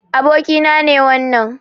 Abokina ne wannan.